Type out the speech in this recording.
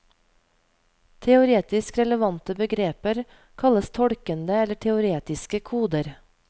Teoretisk relevante begreper kalles tolkende eller teoretiske koder.